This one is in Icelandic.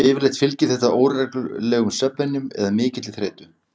Yfirleitt fylgir þetta óreglulegum svefnvenjum eða mikilli þreytu.